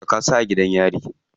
Saka su a gidan yari.